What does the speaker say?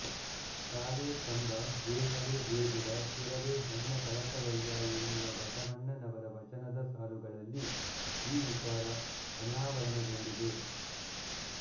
ಕಾಲೇ ಕಂಬ ದೇಹವೇ ದೇಗುಲ ಶಿರವೇ ಹೊನ್ನ ಕಳಸವಯ್ಯ ಎನ್ನುವ ಬಸವಣ್ಣನವರ ವಚನದ ಸಾಲುಗಳಲ್ಲಿ ಈ ವಿಚಾರ ಅನಾವರಣಗೊಂಡಿದೆ